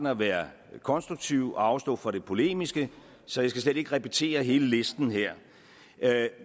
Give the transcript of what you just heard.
at være konstruktiv og afstå fra det polemiske så jeg skal slet ikke repetere hele listen her